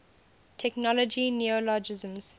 technology neologisms